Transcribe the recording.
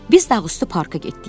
Biz dağı üstü parka getdik.